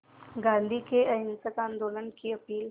गांधी के अहिंसक आंदोलन की अपील